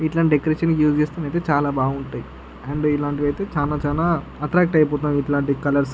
function decoration కి use చేస్తే చాలా బాగుంటుంది అండ్ ఇలాంటి వైతే చాలా చాలా ఎట్రాక్ట్ అయిపోతుంటము ఇలాటి కలర్స్ కి --